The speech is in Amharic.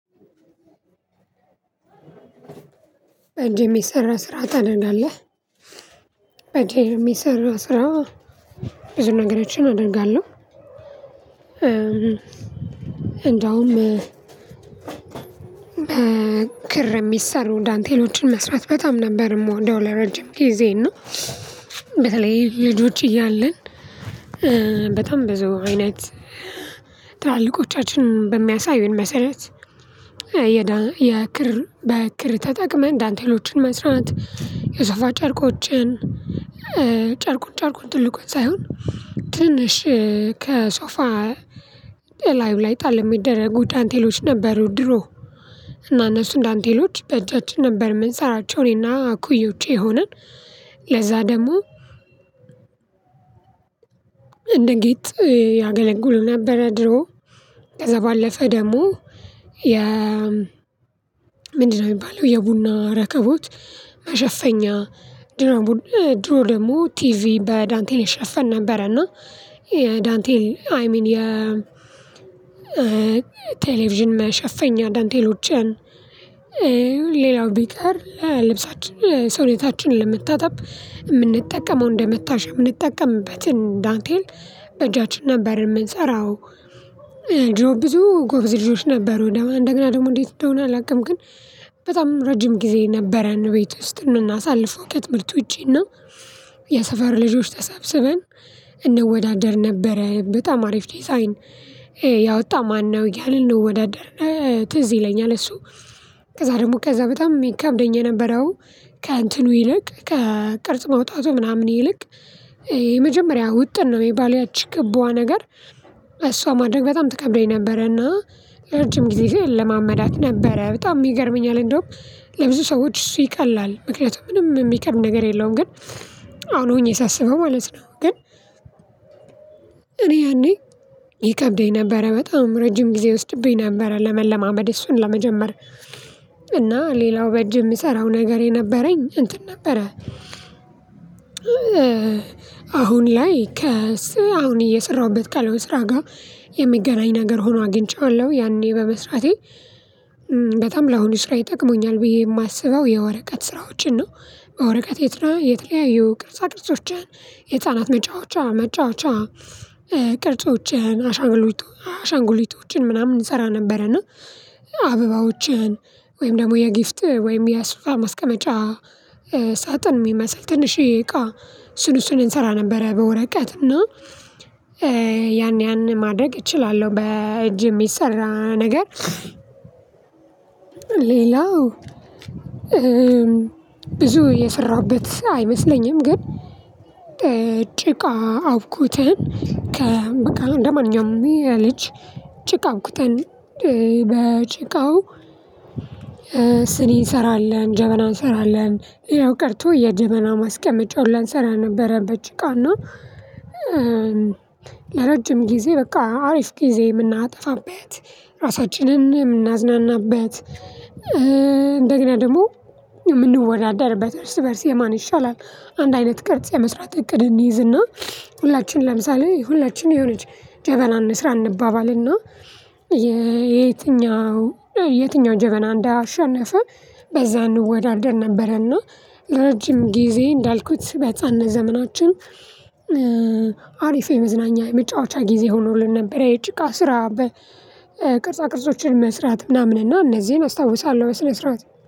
በእጅ የሚሰራ ስራ ታደርጋለህ። በእጄ የሚሰራ ስራ። እንደውም በክር የሚሰሩ ዳንቴሎችን መስራት በጣም ነበር ምወደው። ለረጅም ጊዜ እና በተለይ ልጅ ውጪ እያለን። በጣም ብዙ አይነት ትላልቆቻችን በሚያሳዩን መሰረት የዳ የክር በክር ተጠቅመን ዳንቴሎችን መስራት። የሶፋ ጨርቆችን ጨር ጨርቁን ትልቁን ሳይሆን ትንሽ ከሶፋ ላይቭ ላይ ጣል የሚደረጉ ዳንቴሎች ነበሩ ድሮ። እና እነሱ ዳንቴሎች በእጃችን ነበር የምንሰራቸው እኔና እኩዮች ሆነን። ለዛ ደግሞ እንደ ጌጥ ያገለገሉ ነበረ ድሮ። ከዛ ባለፈ ደግሞ የ ምንድነው የሚባለው የቡና ረከቦት መሸፈኛ ድሮ ድሮ ደግሞ ቲቪ በዳንቴል ይሸፈን ነበረ። እና የ ዳንቴል አይ ሚን የ ቴሌቪዥን መሸፈኛ ዳንቴሎችን ሌላው ቢቀር ለልብሳችን ለሰውነታችን ለመታጠብ እምንጠቀመው እንደመታሻ እምንጠቀምበትን ዳንቴል በእጃችን ነበር የምንሰራው። ጆ ብዙ ጎበዝ ልጆች ነበሩ እንደገና ደግሞ እንዴት እንደሆነ አላውቅም። ግን በጣም ረጅም ጊዜ ነበረን ቤት ውስጥ ምናሳልፈው ከትምህርት ውጪና የሰፈር ልጆች ተሰብስበን እንወዳደር ነበረ በጣም አሪፍ ዲዛይን ያወጣ ማነው ያለን ነው? ወዳደር ትዝ ይለኛል እሱ። ከዛ ደግሞ ከዛ በጣም የሚከብደኝ የነበረው ከእንትኑ ይልቅ ከቅርጽ መውጣቱ ምናምን ይልቅ የመጀመሪያ ውጥን ነው የሚባለው ያቺ ክባዋ ነገር እሷ ማድረግ በጣም ትከብደኝ ነበረና ለረጅም ጊዜ እለማመዳት ነበረ በጣም ይገርመኛል። እንደውም ለብዙ ሰዎች እሱ ይቀላል ምክንያቱም ምንም የሚከብድ ነገር የለውም። ግን አሁን ሆኜ ሳስበው ማለት ነው። ግን እኔ ያኔ ይከብደኝ ነበረ በጣም ረጅም ጊዜ ይወስድብኝ ነበር። ለመለማመድ እሱን ለመጀመር እና ሌላው በእጅ የምሰራው ነገር የነበረኝ እንትን ነበረ። አሁን ላይ ከስ አሁን እየሰራሁበት ካለው ስራ ጋር የሚገናኝ ነገር ሆኖ አግኝቼዋለሁ ያኔ በመስራቴ በጣም ለአሁኑ ስራ ጠቅመኛል ብዬ የማስበው የወረቀት ስራዎችን ነው። በወረቀት የት የተለያዩ ቅርጻ ድርጆችን የህፃናት መጫወቻ መጫወቻ ቅርጾችን አሻንጉሊቶችን ምናምን እንሰራ ነበረና አበባዎችን ወይም ደግሞ የጊፍት ወይም የሶፋ ማስቀመጫ ሳጥን የሚመስል ትንሽዬ እቃ እሱን እሱን እንሰራ ነበረ። በወረቀት እና ያን ያን ማድረግ እችላለሁ በእጅ የሚሰራ ነገር። ሌላው ብዙ የሰራሁበት አይመስለኝም። ግን ጭቃ አውኩተን ከ በቃ እንደማንኛውም የልጅ ጭቃ አዉኩተን በጭቃው ስኒ እንሰራለን ጀበና እንሰራለን ሌላው ቀርቶ የደመና ማስቀመጫውን ሁላ እንስራ ነበረ። በጭቃ ና ለረጅም ጊዜ በቃ አሪፍ ጊዜ የምናጠፋበት ራሳችንን የምናዝናናበት እንደገና ደግሞ የምንወዳደርበት እርስ በእርስ የማን ይሻላል አንድ አይነት ቅርጽ የመስራት እቅድ እንይዝ። እና ሁላችንም ለምሳሌ ሁላችንም የሆነች ጀበና እንስራ እንባባል እና የትኛው የትኛው ጀበና እንዳሸነፈ በዛ እንወዳደር ነበረና። ለረጅም ጊዜ እንዳልኩት በህፃንነት ዘመናችን አሪፍ የመዝናኛ የመጫወቻ ጊዜ ሆኖልን ነበር የጭቃ ስራ። በቅርጻ ቅርጾችን መስራት ምናምን እና እነዚህን አስታውሳለሁ። በስነ ስርዓት